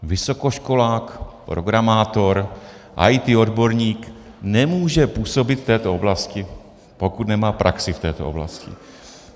Vysokoškolák, programátor, IT odborník nemůže působit v této oblasti, pokud nemá praxi v této oblasti.